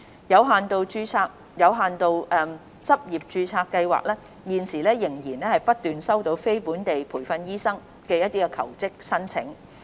有限度執業註冊計劃現時仍不斷收到非本地培訓醫生的求職申請。